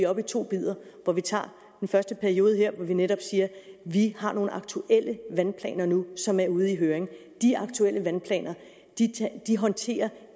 op i to bidder og at vi tager den første periode her hvor vi netop siger at vi har nogle aktuelle vandplaner nu som er ude i høring de aktuelle vandplaner håndterer